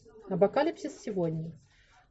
апокалипсис сегодня